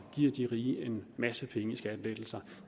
giver de rige en masse penge i skattelettelser